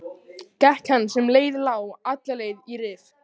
Gekk hann sem leið lá alla leið í Rif.